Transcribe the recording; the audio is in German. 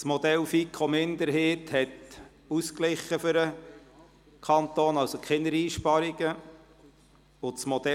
das Modell der FiKo-Minderheit hat einen ausgeglichenen Saldo, also keine Einsparungen für den Kanton;